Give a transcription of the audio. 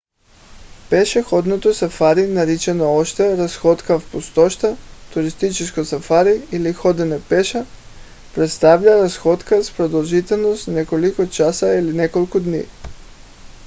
пешеходното сафари наричано още разходка в пустошта туристическо сафари или ходене пеша представлява разходка с продължителност няколко часа или няколко дни